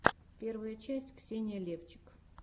первая часть ксения левчик